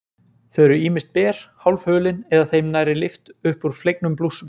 Þau eru ýmist ber, hálfhulin eða þeim nærri lyft upp úr flegnum blússum.